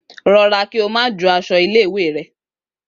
Rọra kí o má jó aṣọ ilé ìwé rẹ!